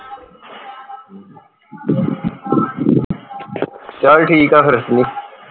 ਚੱਲ ਠੀਕ ਆ ਫੇਰ